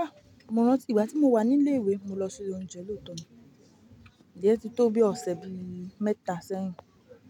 Ah! Mọ̀ ọ́n rántí ìgbà tí mo wà ní ilé ìwé, mo lọ sí ilé oúnjẹ lóòótọ́ mi. È tí tó bí ọ̀sẹ̀ bi mẹ́ta sẹ́yìn.